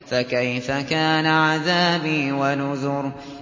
فَكَيْفَ كَانَ عَذَابِي وَنُذُرِ